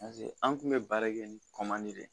an kun bɛ baara kɛ ni de ye